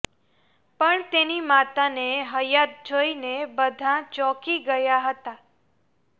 પણ તેની માતાને હયાત જોઈને બધા ચોંકી ગયા હતા